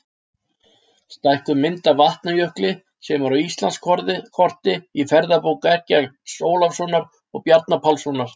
Stækkuð mynd af Vatnajökli sem er á Íslandskorti í ferðabók Eggerts Ólafssonar og Bjarna Pálssonar.